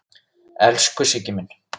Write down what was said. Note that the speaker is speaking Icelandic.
Elsku Siggi minn.